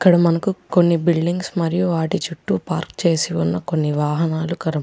ఇక్క్కడ మనకి కొన్ని బిల్డింగ్స్ మరియు వాటి చూట్టు పార్క్ చేసిన కొన్ని వాహనాలు కర్ --